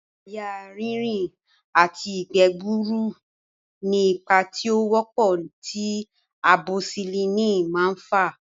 Àyà rínrìn àti ìgbẹ́ gbuuru ni ipa tí ó wọ́pọ̀ tí amosisilínì máa ń fà